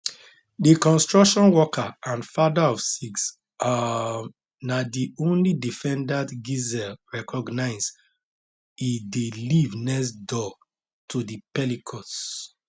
di construction worker and fatherofsix um na di only defendant gisele recognise e dey live next door to di pelicots